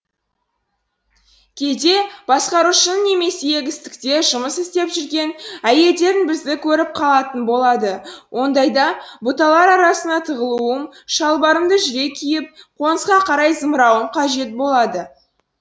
кейде басқарушының немесе егістікте жұмыс істеп жүрген әйелдердің бізді көріп қалатыны болады ондайда бұталар арасына тығылуым шалбарымды жүре киіп қонысқа қарай зымырауым қажет болады